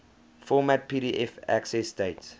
format pdf accessdate